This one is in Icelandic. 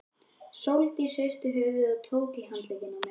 Sóldís hristi höfuðið og tók í handlegginn á mér.